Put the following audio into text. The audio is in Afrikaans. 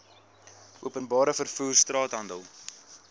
openbare vervoer straathandel